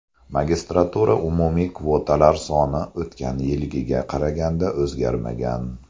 Magistraturada umumiy kvotalar soni o‘tgan yilgiga qaraganda o‘zgarmagan.